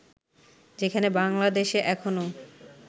যেখানে বাংলাদেশে এখনও